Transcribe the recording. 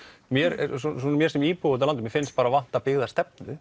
mér mér sem íbúa úti á landi finnst vanta